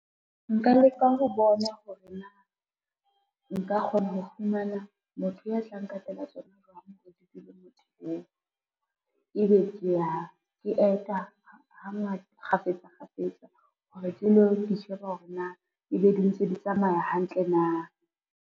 Nka leka ho bona hore na, nka kgona ho fumana motho ya tlang katela tsona jwang di dule mothong eo, e be ke ya ke eta kgafetsa kgafetsa hore ke lo di sheba hore na, e be di ntse di tsamaya hantle na.